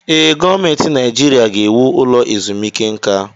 Ee, gọọmentị Naijiria ga-ewu ụlọ ezumike nka.